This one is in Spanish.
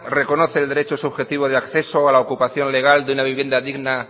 reconoce el derecho subjetivo de acceso a la ocupación legal de una vivienda digna